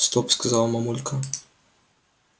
стоп сказала мамулька